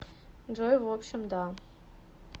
джой в общем да